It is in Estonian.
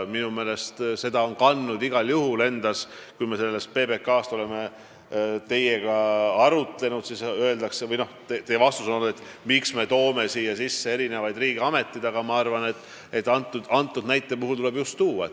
Kui me oleme teiega PBK üle arutlenud, siis te olete küsinud, miks me toome siia sisse riigiameteid, aga teatud juhtudel ja selle näite puhul tuleb just tuua.